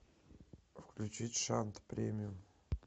включить шант премиум